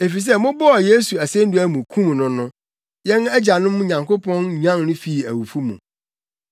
efisɛ mobɔɔ Yesu asennua mu, kum no no, yɛn agyanom Nyankopɔn nyan no fii owu mu.